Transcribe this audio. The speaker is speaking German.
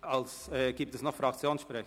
Gibt es noch Fraktionssprecher?